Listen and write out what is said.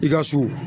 I ka so